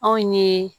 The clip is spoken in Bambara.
Anw ye